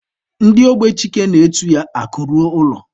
Ndị ogbe Chike na-etu ya Akụ ruo ụlọ.